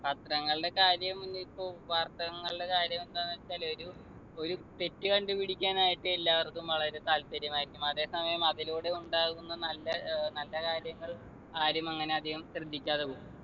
പത്രങ്ങളുടെ കാര്യം ഇനിയിപ്പോ വാർത്തകൾന്നുള്ള കാര്യം എന്താന്ന് വെച്ചാൽ ഒരു ഒരു തെറ്റ് കണ്ടുപിടിക്കാനായിട്ട് എല്ലാവര്‍ക്കും വളരെ താല്പര്യമായിരിക്കും അതെ സമയം അതിലൂടെ ഉണ്ടാകുന്ന നല്ല ഏർ നല്ല കാര്യങ്ങൾ ആരും അങ്ങനെ അധികം ശ്രദ്ധിക്കാതെ പോവും